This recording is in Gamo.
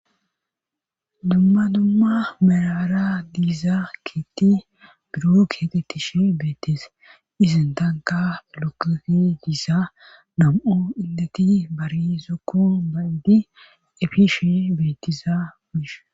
dumma dumma merara diiza ketti buro keeqettishe beettise izin tanka lokefi diisa nam7o illeti barizokku bayidi efishe beettiza bishe